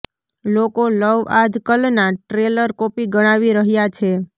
લોકો લવ આજ કલનાં ટ્રેલર કોપી ગણાવી રહ્યાં છે